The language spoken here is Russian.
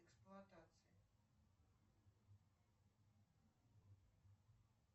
эксплуатация